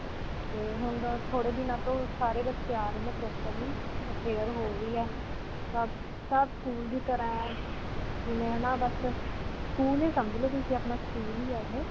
ਤੇ ਹੁਣ ਅਅ ਥੋੜੇ ਦਿਨਾਂ ਤੋਂ ਸਾਰੇ ਬੱਚੇ ਆ ਰਹੇ ਨੇ properly. prayer ਹੋ ਰਹੀ ਹੈ. ਸਭ, ਸਭ school ਦੀ ਤਰ੍ਹਾ ਹੈ. ਮੈਂ ਨਾ ਬਸ school ਹੀ ਸਮਝ ਲੋ ਤੁਸੀਂ ਆਪਣਾ. school ਹੀ ਹੈ ਇਹੇ.